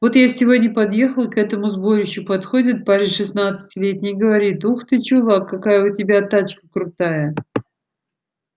вот я сегодня подъехал к этому сборищу подходит парень шестнадцатилетний и говорит ух ты чувак какая у тебя тачка крутая